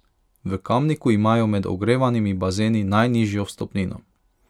V Kamniku imajo med ogrevanimi bazeni najnižjo vstopnino.